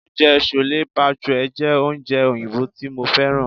Oúnjẹ chole bhature jẹ́ oúnjẹ oyinbo tí mo fẹ́ràn.